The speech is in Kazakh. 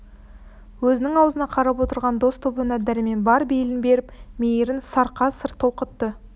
өзінің аузына қарап отырған дос тобына дәрмен бар бейілін беріп мейірін сарқа сыр толқытты